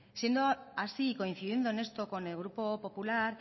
siendo así coincidiendo en esto con el grupo popular